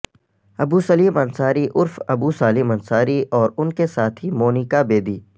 ابو سلیم انصاری عرف ابو سالم انصاری اور ان کی ساتھی مونیکا بیدی